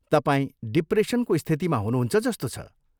तपाईँ डिप्रेसनको स्थितिमा हुनुहुन्छ जस्तो छ।